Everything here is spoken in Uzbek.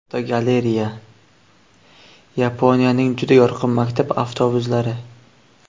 Fotogalereya: Yaponiyaning juda yorqin maktab avtobuslari.